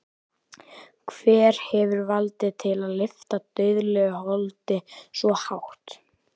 Hver hefur vald til að lyfta dauðlegu holdi svo hátt?